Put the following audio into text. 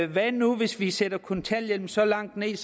hvad nu hvis vi sætter kontanthjælpen så langt ned